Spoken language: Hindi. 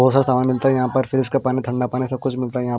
बहुत सारा सामान मिलता है यहाँ पर फ्रिज का पानी थंगा पानी सब कुछ मिलता है यहाँ पर।